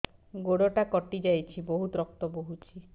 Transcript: ଗୋଡ଼ଟା କଟି ଯାଇଛି ବହୁତ ରକ୍ତ ବହୁଛି